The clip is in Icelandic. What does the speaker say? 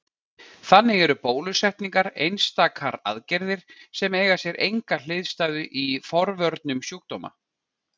Þannig eru bólusetningar einstakar aðgerðir sem eiga sér enga hliðstæðu í forvörnum sjúkdóma.